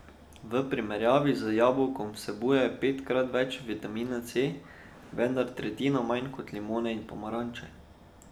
V primerjavi z jabolkom vsebuje petkrat več vitamina C, vendar tretjino manj kot limone in pomaranče.